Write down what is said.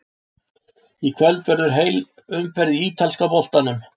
Í kvöld verður heil umferð í ítalska boltanum.